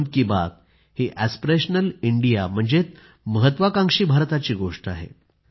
मन की बात ही aspirational India म्हणजेच महत्वाकांक्षी भारताची गोष्ट आहे